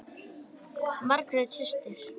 Margrét systir.